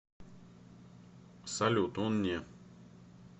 салют он не